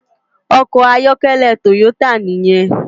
Òkò àyòkèlè Toyota niyèn